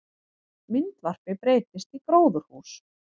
Myndvarpi breyttist í gróðurhús